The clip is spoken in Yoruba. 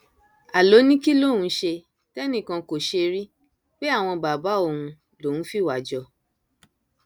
a ló ní kí lòun ṣe tẹnìkan kó ṣe rí pé àwọn bàbá òun lòún fìwà jọ